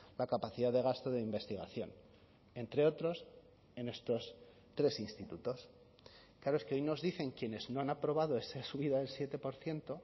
la capacidad de gasto de investigación entre otros en estos tres institutos claro es que hoy nos dicen quienes no han aprobado esa subida del siete por ciento